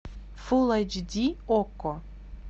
фул айч ди окко